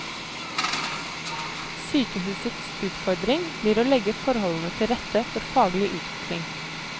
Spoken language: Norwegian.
Sykehusets utfordring blir å legge forholdene til rette for faglig utvikling.